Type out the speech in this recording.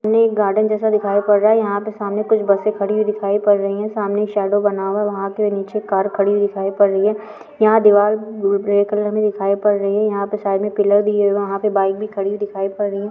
ये एक गार्डन जैसा दिखाई पड़ रहा है यहाँ पे सामने कुछ बसें खड़ी हुईं दिखाई पड़ रहीं हैं सामने एक शैडो बना हुआ है वहाँ पर नीचे कार खड़ी हुई दिखाई पड़ रही है यहाँ दीवार ग्रे कलर में दिखाई पड़ रही है यहाँ पर साइड में पिलर दिए हैं वहाँ पे बाइक भी खड़ी दिखाई पड़ रही है।